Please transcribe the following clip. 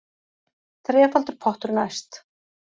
Þrefaldur pottur næst